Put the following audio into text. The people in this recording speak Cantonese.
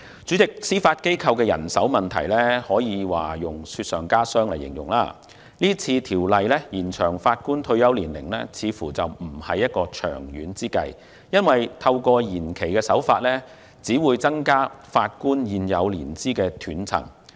主席，司法機構人手問題可以用"雪上加霜"來形容，《條例草案》延展法官退休年齡似乎並非長遠之計，因為透過延期只會增加法官現有年資的斷層。